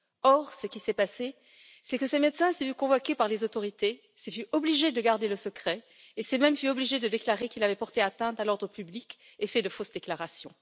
Or, ce qui s'est passé, c'est que ce médecin s'est vu convoqué par les autorités, s'est vu obligé de garder le secret, et s'est même vu obligé de déclarer qu'il avait porté atteinte à l'ordre public et fait de fausses déclarations.